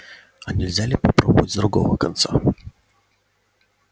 а нельзя ли попробовать с другого конца